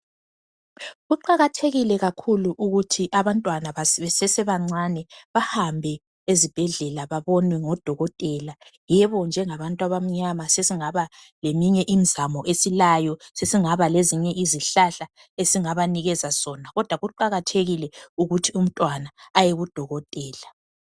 Kuqakathekile kakhulu ukuthi abantwana besese bancane bahambe ezibhedlela babonwe ngodokotela, yebo njengabantu abamnyama sesingaba leminye imizamo esilayo sesingaba lezinye izihlahla esingabanikeza zona, kodwa kuqakathekile ukuthi umntwana aye kudokotela.